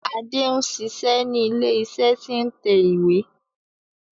Adé n ṣiṣé ni ilé iṣé tí n tẹ ìwé.